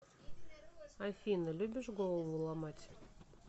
афина любишь голову ломать